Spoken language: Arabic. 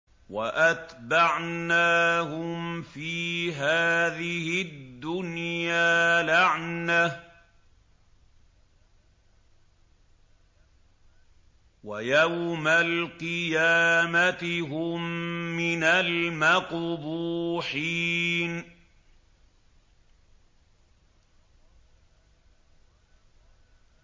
وَأَتْبَعْنَاهُمْ فِي هَٰذِهِ الدُّنْيَا لَعْنَةً ۖ وَيَوْمَ الْقِيَامَةِ هُم مِّنَ الْمَقْبُوحِينَ